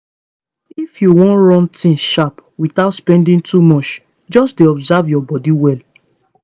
if you wan run things sharp without spending too much just dey observe your body well